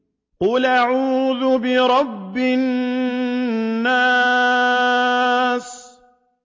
قُلْ أَعُوذُ بِرَبِّ النَّاسِ